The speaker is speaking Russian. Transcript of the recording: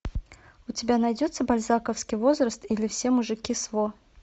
у тебя найдется бальзаковский возраст или все мужики сво